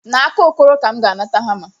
N'aka Okoro ka M ga-anata hama.